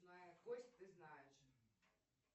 зная кость ты знаешь